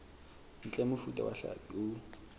ntle mofuta wa hlapi o